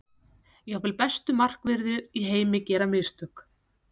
Jafnvel bestu markverðir í heim gera mistök.